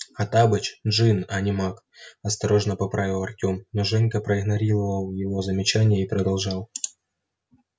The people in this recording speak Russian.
хоттабыч джинн а не маг осторожно поправил артём но женька проигнорировал его замечание и продолжал